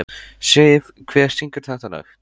Siv, hver syngur þetta lag?